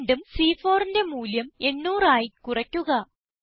വീണ്ടും C4ന്റെ മൂല്യം 800 ആയി കുറയ്ക്കുക